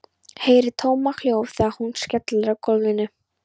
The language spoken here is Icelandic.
Heyri tómahljóð þegar hún skellur á gólfinu.